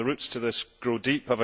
The roots to this go deep.